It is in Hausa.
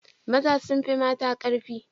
Maza sun fi mata karfi